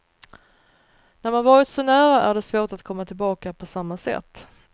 När man varit så nära är det svårt att komma tillbaka på samma sätt.